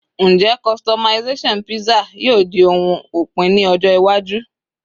njé customization pizza yíò di oun opin ní ọjọ iwaju